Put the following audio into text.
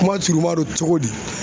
Kuma surunman don cogo di